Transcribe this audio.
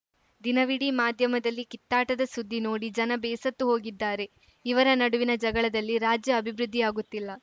ದಿನವಿಡೀ ಮಾಧ್ಯಮದಲ್ಲಿ ಕಿತ್ತಾಟದ ಸುದ್ದಿ ನೋಡಿ ಜನ ಬೇಸತ್ತು ಹೋಗಿದ್ದಾರೆ ಇವರ ನಡುವಿನ ಜಗಳದಲ್ಲಿ ರಾಜ್ಯ ಅಭಿವೃದ್ಧಿಯಾಗುತ್ತಿಲ್ಲ